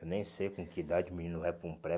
Eu nem sei com que idade o menino vai para um pré.